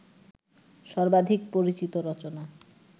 সর্বাধিক পরিচিত রচনা